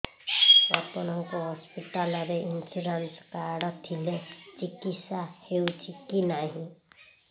ଆପଣଙ୍କ ହସ୍ପିଟାଲ ରେ insurance card ଥିଲେ ଚିକିତ୍ସା ହେଉଛି କି ନାଇଁ